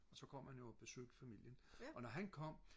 og så kom han jo og besøgte familien og når han kom